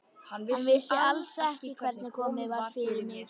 Hann vissi alls ekki hvernig komið var fyrir mér.